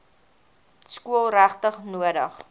skool regtig nodig